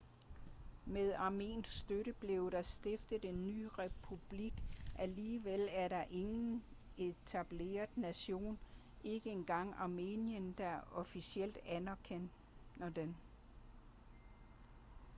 med armensk støtte blev der stiftet en ny republik alligevel er der ingen etableret nation ikke engang armenien der officielt anerkender den